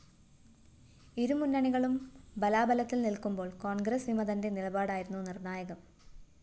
ഇരു മുന്നണികളും ബലാബലത്തില്‍ നില്‍ക്കുമ്പോള്‍ കോണ്‍ഗ്രസ് വിമതന്റെ നിലപാടായിരുന്നു നിര്‍ണ്ണായകം